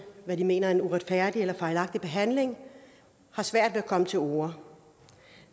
hvad de mener er en uretfærdig eller fejlagtig behandling og har svært ved at komme til orde